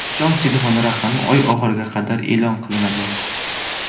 Ishonch telefoni raqami oy oxiriga qadar e’lon qilinadi.